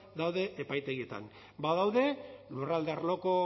daude epaitegietan badaude lurralde arloko